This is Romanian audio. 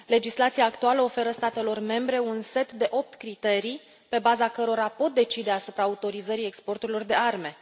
Legislația actuală oferă statelor membre un set de opt criterii, pe baza cărora pot decide asupra autorizării exporturilor de arme.